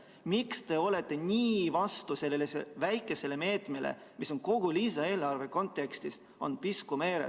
Miks te olete nii vastu sellele väikesele meetmele, mis on kogu lisaeelarve kontekstis piisk meres?